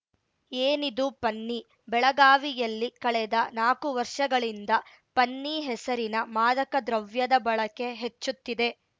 ಏನಿದು ಪನ್ನಿ ಬೆಳಗಾವಿಯಲ್ಲಿ ಕಳೆದ ನಾಕು ವರ್ಷಗಳಿಂದ ಪನ್ನಿ ಹೆಸರಿನ ಮಾದಕ ದ್ರವ್ಯದ ಬಳಕೆ ಹೆಚ್ಚುತ್ತಿದೆ